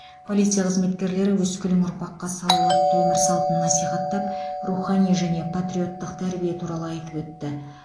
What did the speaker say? полиция қызметкерлері өскелең ұрпаққа салауатты өмір салтын насихаттап рухани және патриоттық тәрбие туралы айтып өтті